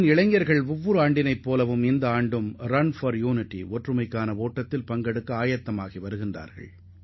இந்த ஆண்டும் நாட்டிலுள்ள இளைஞர்கள் ஒற்றுமை ஓட்டம் நிகழ்ச்சியில் பங்கேற்க ஆயத்தமாக உள்ளனர்